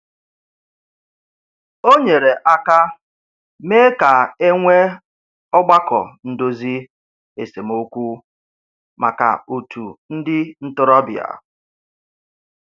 O nyere aka mee ka e nwee ọgbakọ ndozi esemokwu maka otu ndị ntorobịa.